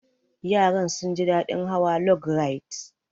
Yaran sun ji daɗin hawa log rides.